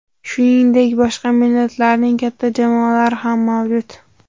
Shuningdek, boshqa millatlarning katta jamoalari ham mavjud.